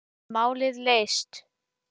Málið leyst.